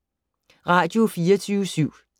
Radio24syv